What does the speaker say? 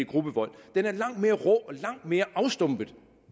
gruppevold er langt mere rå og langt mere afstumpet